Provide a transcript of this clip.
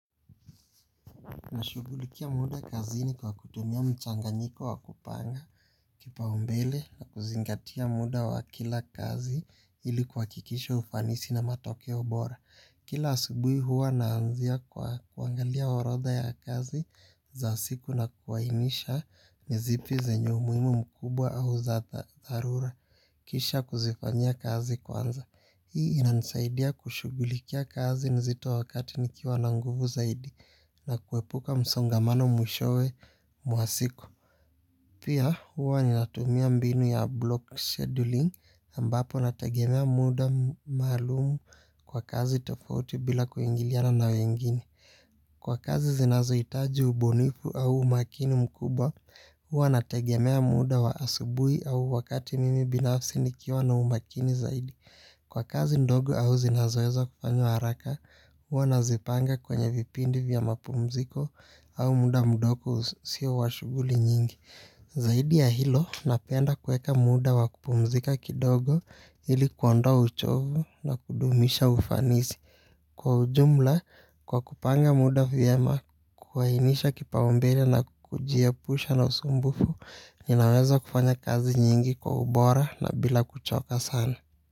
Nashughulikia muda kazini kwa kutumia mchanganyiko wa kupanga kipa umbele na kuzingatia muda wa kila kazi ili kuhakikisha ufanisi na matokeo bora. Kila asubuhi huwa na anzia kwa kuangalia orodha ya kazi za siku na kuainisha ni zipi zenyu umuhimu mkubwa au za dharura. Kisha kuzifanyia kazi kwanza. Hii inanisaidia kushughulikia kazi nzito wakati nikiwa na nguvu zaidi na kuepuka msongamano mwishowe mwasiku. Pia huwa ninatumia mbinu ya block scheduling ambapo natagemea muda maalum kwa kazi tofauti bila kuingiliana na wengine. Kwa kazi zinazoitaji ubunifu au umakini mkubwa huwa natagemea muda wa asubuhi au wakati mimi binafsi nikiwa na umakini zaidi. Kwa kazi ndogo au zinazoeza kufanywa haraka huwanazipanga kwenye vipindi vya mapumziko au muda mudogo usio washughuli nyingi. Zaidi ya hilo, napenda kuweka muda wakupumzika kidogo ili kuondoa uchovu na kudumisha ufanisi. Kwa ujumla, kwa kupanga muda vyema kuhainisha kipaumbele na kujiepusha na usumbufu, ninaweza kufanya kazi nyingi kwa ubora na bila kuchoka sana.